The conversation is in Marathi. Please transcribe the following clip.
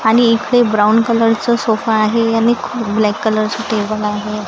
आणि इकडे ब्राऊन कलर चं सोफा आहे आणि खू ब्लॅक कलर च टेबल आहे.